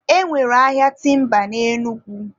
e nwere ahịa timba na Enugu.